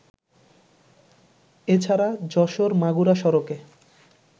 এছাড়া যশোর-মাগুরা সড়কে